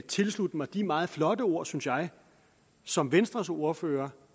tilslutte mig de meget flotte ord synes jeg som venstres ordfører